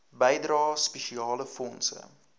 bydrae spesiale fondse